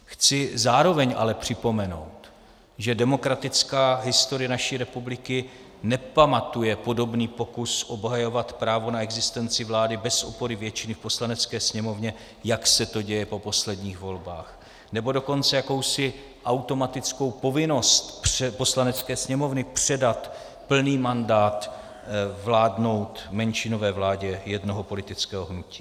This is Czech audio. Chci zároveň ale připomenout, že demokratická historie naší republiky nepamatuje podobný pokus obhajovat právo na existenci vlády bez opory většiny v Poslanecké sněmovně, jak se to děje po posledních volbách, nebo dokonce jakousi automatickou povinnost Poslanecké sněmovny předat plný mandát vládnout menšinové vládě jednoho politického hnutí.